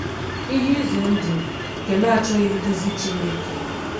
Ihe ize ndụ nke na-achọghị nduzi Chineke